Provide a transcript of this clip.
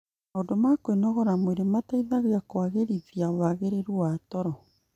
Maũndũ ma kũnogora mwĩrĩ mateithagia kũagĩrithia wagĩrĩru wa toro,